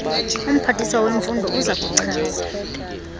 umphathiswa wezemfundo uzakuchaza